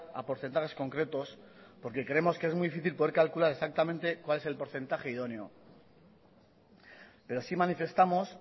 a porcentajes concretos porque creemos que es muy difícil poder calcular exactamente cuál es el porcentaje idóneo pero sí manifestamos